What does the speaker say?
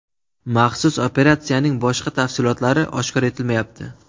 Maxsus operatsiyaning boshqa tafsilotlari oshkor etilmayapti.